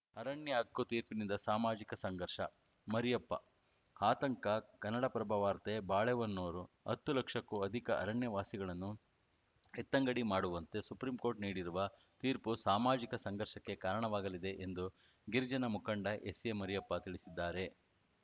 ಅರಣ್ಯ ಹಕ್ಕು ತೀರ್ಪಿನಿಂದ ಸಾಮಾಜಿಕ ಸಂಘರ್ಷ ಮರಿಯಪ್ಪ ಆತಂಕ ಕನ್ನಡಪ್ರಭ ವಾರ್ತೆ ಬಾಳೆಹೊನ್ನೂರು ಹತ್ತು ಲಕ್ಷಕ್ಕೂ ಅಧಿಕ ಅರಣ್ಯ ವಾಸಿಗಳನ್ನು ಎತ್ತಂಗಡಿ ಮಾಡುವಂತೆ ಸುಪ್ರೀಂ ಕೋರ್ಟ್‌ ನೀಡಿರುವ ತೀರ್ಪು ಸಾಮಾಜಿಕ ಸಂಘರ್ಷಕ್ಕೆ ಕಾರಣವಾಗಲಿದೆ ಎಂದು ಗಿರಿಜನ ಮುಖಂಡ ಎಸ್‌ಎ ಮರಿಯಪ್ಪ ತಿಳಿಸಿದ್ದಾರೆ